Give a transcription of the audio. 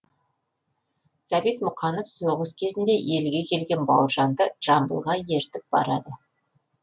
сәбит мұқанов соғыс кезінде елге келген бауыржанды жамбылға ертіп барады